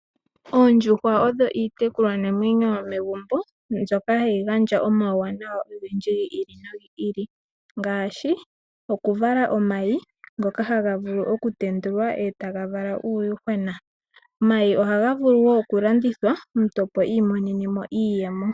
Oondjuhwa odho iitekulwa namwenyo yomegumbo, mbyoka hayi gandja omawuwanawa ogendji gi ili nogi ili, ngaashi, okuvala omayi ngoka haga vulu okutendulwa eta gavala uuyuhwena. Omayi ohaga vulu wo okulandithwa omuntu opo iimonene mo iiyemo.